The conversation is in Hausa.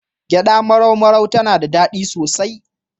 Gyaɗa marau-marau tana da daɗi sosai.